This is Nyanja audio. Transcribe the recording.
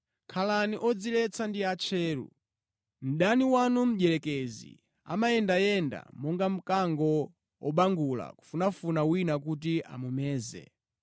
Khalani odziretsa ndi atcheru. Mdani wanu mdierekezi amayendayenda monga mkango wobangula kufunafuna wina kuti amumeze.